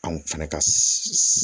Anw fɛnɛ ka